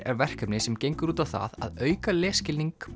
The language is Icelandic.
er verkefni sem gengur út það að auka lesskilning